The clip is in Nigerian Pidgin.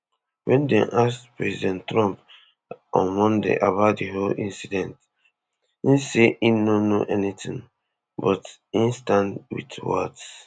wen dem ask president trump on monday about di whole incident e say im no know anything but e stand wit waltz